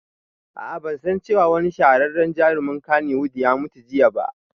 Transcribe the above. Aa ban san cewa wani shahararren jarumin kannywood ya mutu jiya ba